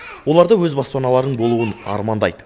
олар да өз баспаналарының болуын армандайды